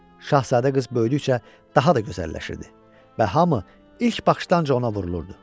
Şahzadə qız böyüdükcə daha da gözəlləşirdi və hamı ilk baxışdan ona vurulurdu.